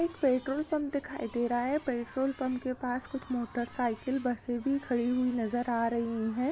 एक petrol pump दिखाई दे रहा है पेट्रोल पम्प के पास कुछ मोटर साइकिल बसे भी खड़ी हुई नजर आ रही हैं।